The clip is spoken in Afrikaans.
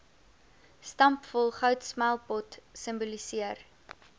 stampvol goudsmeltpot simboliseer